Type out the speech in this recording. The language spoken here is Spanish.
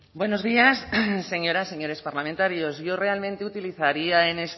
buenos días señoras señores parlamentarios yo realmente utilizaría